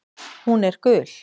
Hún er gul.